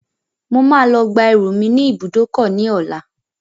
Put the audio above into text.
Mo máa lọ gba ẹrù mi ní ìbùdókọ̀ ní ọlá.